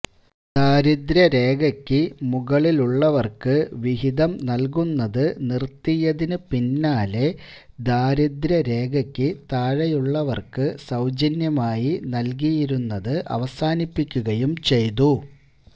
ദാരിദ്ര്യരേഖക്ക് മുകളിലുള്ളവർക്ക് വിഹിതം നൽകുന്നത് നിർത്തിയതിന് പിന്നാലെ ദാരിദ്രരേഖക്ക് താഴെയുള്ളവർക്ക് സൌജന്യമായി നൽകിയിരുന്നത് അവസാനിപ്പിക്കുകയും ചെയ്തു